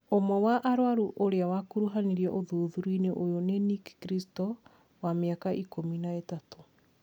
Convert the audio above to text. ũmwe wa arwaru ũria wakuruhanirio ũthûthurĩa-ini ũyũ ni Nikki Christou, wa miaka ikumi na ĩtatũ.